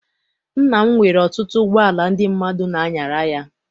Nna m nwere ọtụtụ ụgbọala ndị mmadụ n'anyara ya.